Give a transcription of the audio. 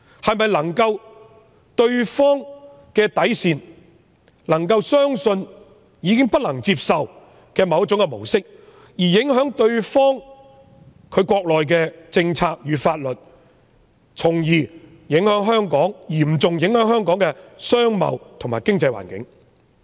情況是否已超越對方的底線，令他們相信香港已經出現他們不能接受的某種模式，影響他們國內的政策與法律，從而嚴重影響香港的商貿和經濟環境？